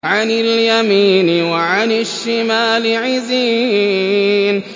عَنِ الْيَمِينِ وَعَنِ الشِّمَالِ عِزِينَ